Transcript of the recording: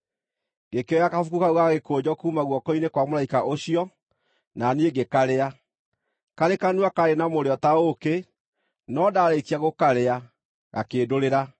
Ngĩkĩoya kabuku kau ga gĩkũnjo kuuma guoko-inĩ kwa mũraika ũcio, na niĩ ngĩkarĩa. Karĩ kanua kaarĩ na mũrĩo ta ũũkĩ, no ndarĩĩkia gũkarĩa, gakĩndũrĩra.